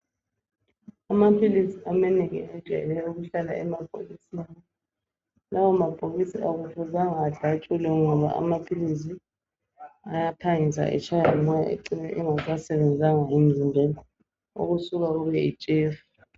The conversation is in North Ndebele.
Amaphilisi amanengi ajayele ukuhlala emabhokisini, lawomabhokisi akufuzanga adatshulwe ngoba amaphilisi ayaphangisa atshaywe ngumoya ecine engasasenzanga emzimbeni okusuka kube yitshefu